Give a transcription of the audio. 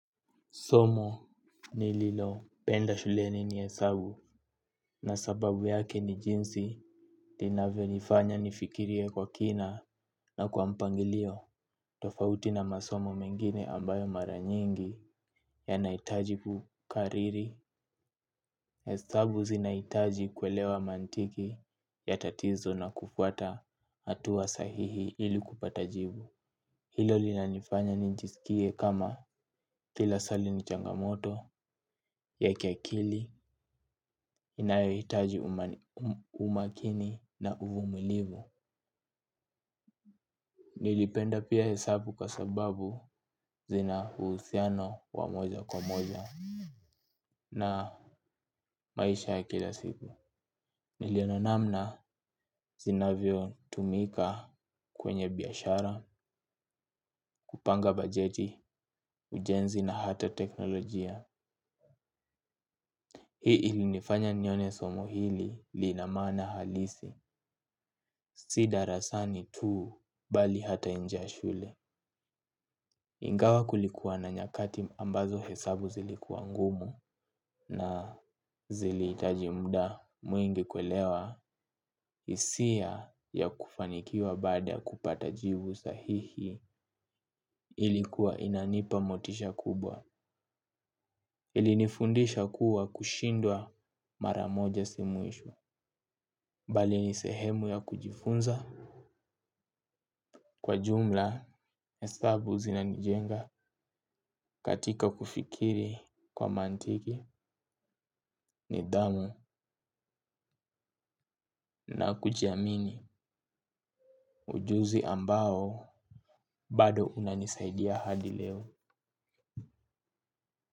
Somo ni lilo penda shuleni ni hesabu na sababu yake ni jinsi, inavyo nifanya nifikirie kwa kina na kwa mpangilio. Tofauti na masomo mengine ambayo maranyingi yanahitaji kukariri. Esabu zinahitaji kuelewa mantiki, ya tatizo na kufuata hatua sahihi ili kupatajibu. Hilo linanifanya ninjisikie kama, kila swali nichangamoto, ya kia akili, inayo hitaji umakini na uvumulivu. Nilipenda pia hesabu kwa sababu, zinauhusiano wa moja kwa moja, na maisha ya kila siku. Niliona namna sinavyo tumika, kwenye biashara, kupanga bajeti, ujenzi na hata teknolojia. Hii i ilinifanya nione somo hili, lina maana halisi. Si darasani tu, bali hata nje ya shule. Ingawa kulikuwa na nyakati ambazo hesabu zilikuwa ngumu, na ziliitaji mda mwingi kuelewa, hisia ya kufanikiwa, baada ya kupata jivu sahihi, ilikuwa inanipa motisha kubwa. Iinifundisha kuwa, kushinda mara moja si mwisho. Mbali ni sehemu ya kujifunza. Kwa jumla, hesabu zinanijenga katika kufikiri, kwa mantiki nidamu na kujiamini ujuzi ambao, bado unanisaidia hadi leo.